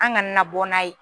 An ka na na bɔ n'a ye